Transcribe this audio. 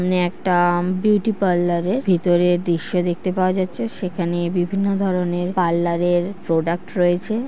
Natrum beauty parlour এর ভেতরের দৃশ্য দেখতে পাওয়া যাচ্ছে। সেখানে বিভিন্ন ধরনের পার্লার এর প্রোডাক্ট রয়েছে।